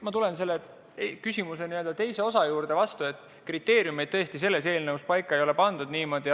Ma vastan selle küsimuse teisele osale: kriteeriumid tõesti selles eelnõus paika ei ole pandud.